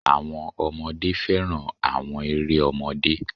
Àwọn ọmọdé fẹ́ràn àwọn eré ọmọdé.